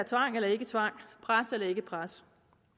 tvang eller ikke tvang pres eller ikke pres